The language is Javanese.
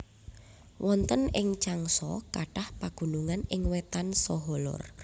Wonten ing Changsha kathah pagunungan ing wétan saha lor